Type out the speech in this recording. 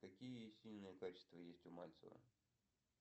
какие сильные качества есть у мальцева